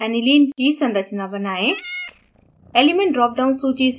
अब panel पर aniline की संरचना बनाएं